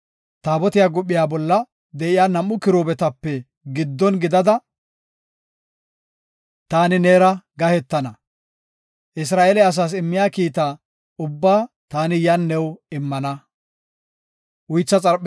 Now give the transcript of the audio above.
Taabotiya guphiya bolla de7iya nam7u kiruubetape giddon gidada taani neera gahetana. Isra7eele asaas immiya kiita ubbaa taani yan new immana.”